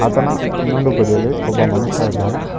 ಆತನ ಇನ್ನೊಂದು ಬದಿಯಲ್ಲಿ ಇನ್ನೊಬ್ಬ ಮನುಷ್ಯ ಇದ್ದಾನೆ.